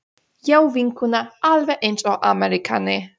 Já, vinkona, alveg eins og ameríkani.